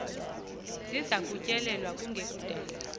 ziza kutyelelwa kunekudala